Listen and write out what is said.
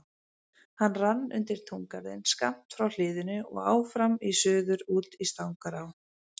Hann rann undir túngarðinn skammt frá hliðinu og áfram í suður út í Stangará.